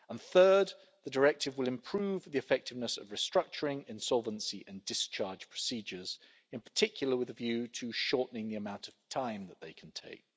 Thirdly, the directive will improve the effectiveness of restructuring, insolvency and discharge procedures, in particular with a view to shortening the amount of time that they can take.